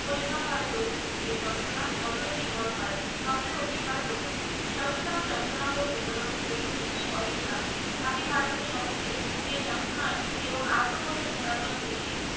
পরিমাপ হয় প্রগতির এ যন্ত্রণা যতোই নির্মল হয় ততোই অধিক হয় প্রগতি সচেতন যন্ত্রণা ভোগ ই হল অহিংসা আমি ভারতের সমুক্ষে সে যন্ত্রণার এবং আত্মবোলির পুরাতন বিধির